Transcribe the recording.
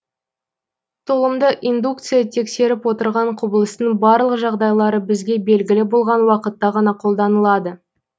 толымды индукция тексеріп отырған құбылыстың барлық жағдайлары бізге белгілі болған уақытта ғана қолданылады